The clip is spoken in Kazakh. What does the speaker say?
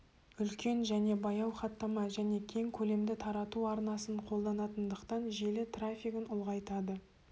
үлкен және баяу хаттама және кең көлемді тарату арнасын қолданатындықтан желі трафигін ұлғайтады